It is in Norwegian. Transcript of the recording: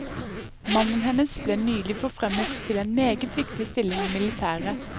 Mannen hennes ble nylig forfremmet til en meget viktig stilling i militæret.